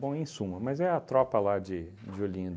Bom, em suma, mas é a tropa lá de de Olinda.